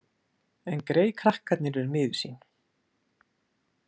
En greyið krakkarnir eru miður sín.